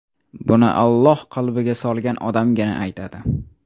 Buni Alloh qalbiga solgan odamgina aytadi.